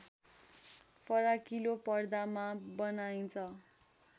फराकिलोपर्दामा बनाइन्छ